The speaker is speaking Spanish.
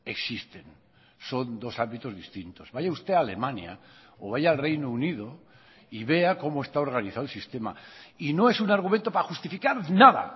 existen son dos ámbitos distintos vaya usted a alemania o vaya al reino unido y vea como está organizado el sistema y no es un argumento para justificar nada